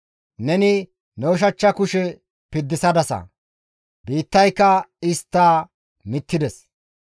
Neni ne ushachcha kushe piddisadasa, biittayka istta mittides.